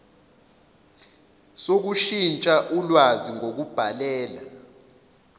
sokushintsha ulwazi ngokubhalela